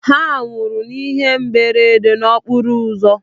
Ha nwụrụ n'ihe mberede okporo ụzọ.